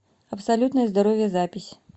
абсолютное здоровье запись